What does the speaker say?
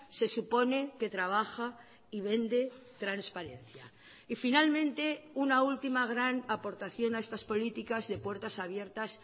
se supone que trabaja y vende transparencia y finalmente una última gran aportación a estas políticas de puertas abiertas